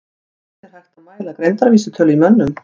Hvernig er hægt að mæla greindarvísitölu í mönnum?